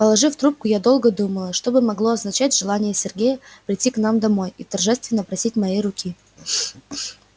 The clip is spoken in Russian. положив трубку я долго думала что бы могло означать желание сергея прийти к нам домой и торжественно просить моей руки